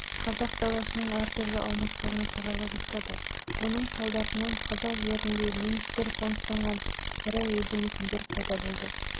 қазақ даласының әр түрлі аймақтарына тарала бастады оның салдарынан қазақ жерінде немістер қоныстанған ірі елді-мекендер